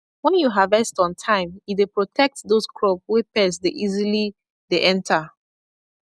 when you harvest on time e dey protect those crop wey pest dey easily dey enter